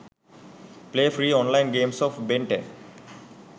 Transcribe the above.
play free online games of ben 10